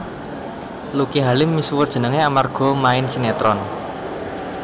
Lucky Halim misuwur jenengé amarga main sinetron